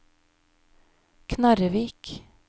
Knarrevik